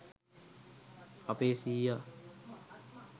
අපේ සීයා